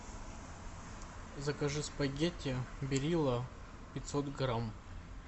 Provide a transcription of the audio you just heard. закажи спагетти берилла пятьсот грамм